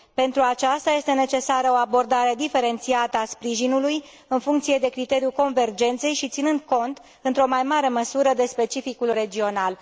Pentru aceasta, este necesară o abordare diferențiată a sprijinului, în funcție de criteriul convergenței și ținând cont într o mai mare măsură de specificul regional.